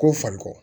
Ko fariko